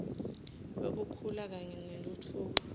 wekukhula kanye nentfutfuko